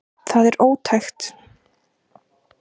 Það er ótækt